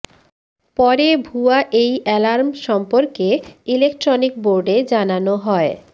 পরে ভুয়া এই এলার্ম সম্পর্কে ইলেকট্রনিক বোর্ডে জানানো হয়